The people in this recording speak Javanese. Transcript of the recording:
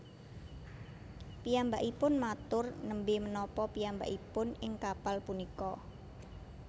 Piyambakipun matur Nembé menapa piyambakipun ing kapal punika